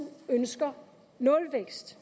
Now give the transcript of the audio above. ønsker nulvækst